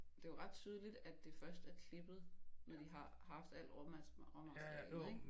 Det jo ret tydeligt at det først er klippet når de har haft al rå råmaterialet ikke